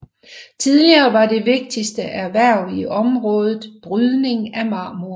Tidligere var det vigtigste erhverv i området brydning af marmor